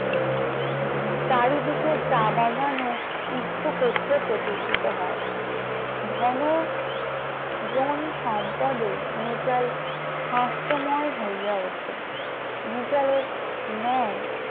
চারিদিকে চা বাগান ও ইক্ষ ক্ষেত্র প্রতিষ্ঠিত হয় ধন জন সম্পদে মিতাল হাস্যময় হয়ে ওঠে। মিতালের ন্যায়